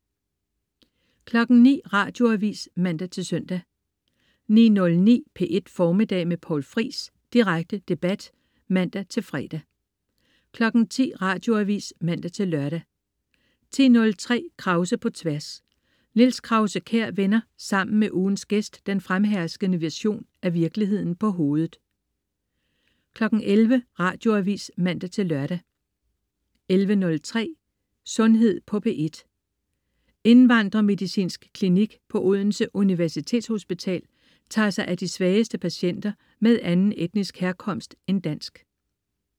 09.00 Radioavis (man-søn) 09.09 P1 Formiddag med Poul Friis. Direkte debat (man-fre) 10.00 Radioavis (man-lør) 10.03 Krause på Tværs. Niels Krause-Kjær vender sammen med ugens gæst den fremherskende version af virkeligheden på hovedet 11.00 Radioavis (man-lør) 11.03 Sundhed på P1. Indvandremedicinsk Klinik på Odense Universitetshospital tager sig af de svageste patienter med anden etnisk herkomst end dansk